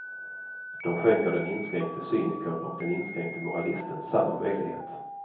De skänker den inskränkte cynikern och den inskränkte moralisten samma möjlighet.